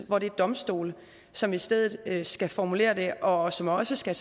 hvor det er domstolene som i stedet skal formulere det og som også skal